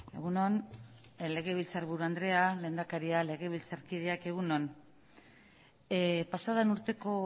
egun on legebiltzar buru andrea lehendakaria legebiltzarkideak egun on pasa den urteko